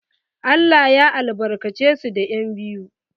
Allah ya albarkace su da yan'biyu.